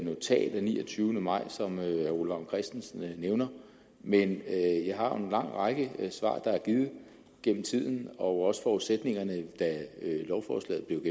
notat af niogtyvende maj som herre ole vagn christensen nævner men jeg jeg har en lang række svar der er givet gennem tiden og også forudsætningerne da lovforslaget blev